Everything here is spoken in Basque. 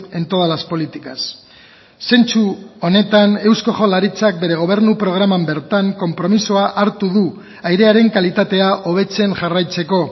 en todas las políticas zentzu honetan eusko jaurlaritzak bere gobernu programan bertan konpromisoa hartu du airearen kalitatea hobetzen jarraitzeko